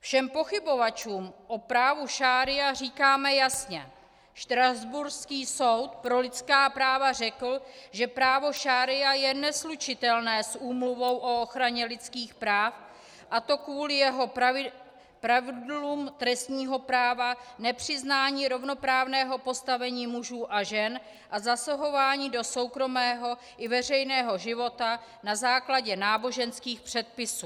Všem pochybovačům o právu šaría říkáme jasně: štrasburský soud pro lidská práva řekl, že právo šaría je neslučitelné s Úmluvou o ochraně lidských práv, a to kvůli jeho pravidlům trestního práva, nepřiznání rovnoprávného postavení mužů a žen a zasahování do soukromého i veřejného života na základě náboženských předpisů.